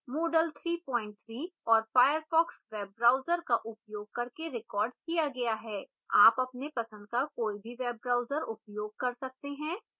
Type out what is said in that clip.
moodle 33 और firefox web browser का उपयोग करके रिकॉर्ड किया गया है